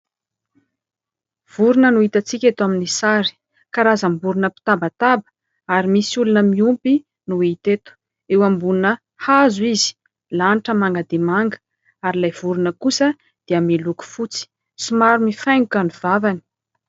Vorona no hitantsika eto amin'ny sary, karam-borona mpitabataba ary misy olona miompy no hita eto, eo ambonina hazo izy. Ny lanitra manga dia manga ary ilay vorona kosa dia miloko fotsy, somary mifaingoka ny vavany.